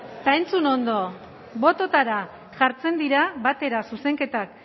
eta entzun ondo bototara jartzen dira batera zuzenketak